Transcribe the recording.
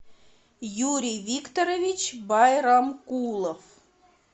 юрий викторович байрамкулов